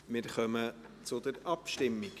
Wir kommen zur Abstimmung.